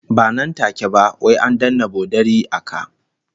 Ba nan take ba, wai an danne bodari a ka